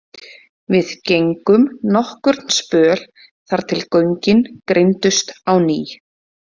Við gengum nokkurn spöl þar til göngin greindust á ný.